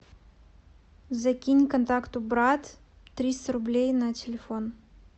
закинь контакту брат триста рублей на телефон